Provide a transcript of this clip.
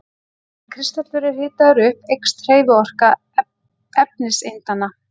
Ef kristallur er hitaður upp eykst hreyfiorka efniseindanna.